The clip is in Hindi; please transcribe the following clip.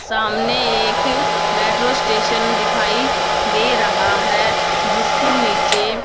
सामने एक मेट्रो स्टेशन दिखाई दे रहा है जिसके नीचे--